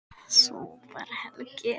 Svo bar Helgi